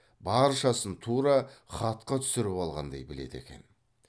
баршасын тура хатқа түсіріп алғандай біледі екен